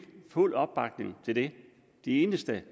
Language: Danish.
fuld opbakning til det de eneste